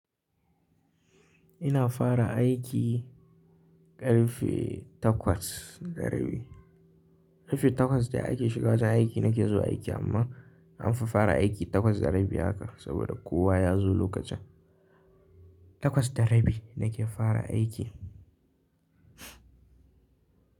Ina fara aiki ƙarfe takwas da rabi. Ƙarfe takwas da aiki shiga ta aiki na ke zuwa aiki, amma an fi fara aiki takwas da rabi haka saboda kowa ya zo lokacin. Takwas da rabi na ke fara aiki.